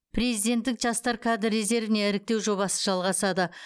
президенттік жастар кадр резервіне іріктеу жобасы жалғасады